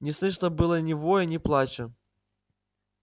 не слышно было ни воя ни плача